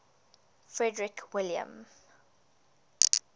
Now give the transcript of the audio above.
frederick william